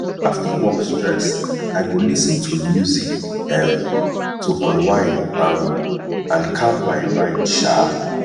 after work stress i go lis ten to music um to unwind um and calm my mind um